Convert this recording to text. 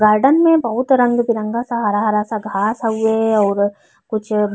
Garden में बहुत रंग बिरंगा हरा हरा सा घास हउवे। अऊर कुछ --